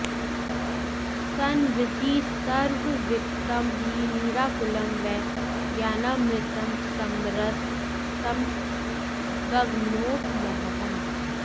संविद्धि सर्वविगतं हि निराकुलं वै ज्ञानामृतं समरसं गगनोपमोऽहम्